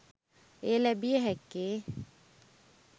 එය ලැබිය හැක්කේ